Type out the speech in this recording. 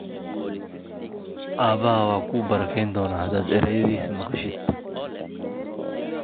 Aabbahaa waa ku barakayn doonaa haddaad erayadiisa maqashid.